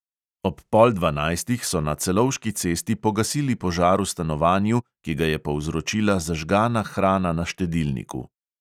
Ob pol dvanajstih so na celovški cesti pogasili požar v stanovanju, ki ga je povzročila zažgana hrana na štedilniku.